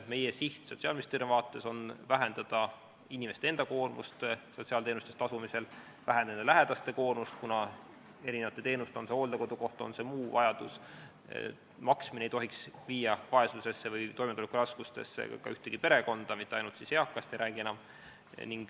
Meie siht Sotsiaalministeeriumi vaates on vähendada inimeste enda koormust sotsiaalteenuste eest tasumisel, vähendada lähedaste koormust, kuna teenuste eest – on see siis hooldekodukoht või muu vajadus – maksmine ei tohiks viia vaesusesse või toimetulekuraskustesse ka ühtegi perekonda, ma ei räägi mitte ainult eakatest.